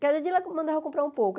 Cada dia ela mandava eu comprar um pouco.